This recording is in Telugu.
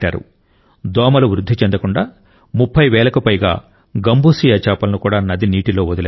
దోమలు వృద్ధి చెందకుండా ముప్పై వేలకు పైగా గంబూసియా చేపలను కూడా నది నీటిలో వదిలారు